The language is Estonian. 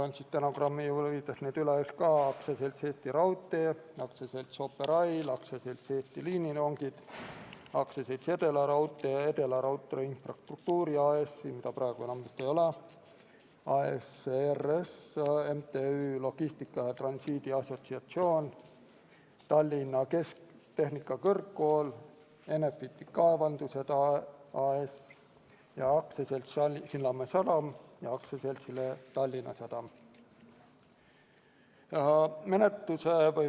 Loen need stenogrammi huvides need üles: AS Eesti Raudtee, AS Operail, AS Eesti Liinirongid, Edelaraudtee AS, Edelaraudtee Infrastruktuuri AS, mida vist praegu enam ei ole, AS E.R.S., Logistika ja Transiidi Assotsiatsioon MTÜ, Tallinna Tehnikakõrgkool, Enefiti Kaevandused AS, AS Sillamäe Sadam ja AS Tallinna Sadam.